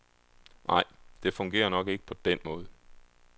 Nej, det fungerer nok ikke på den måde.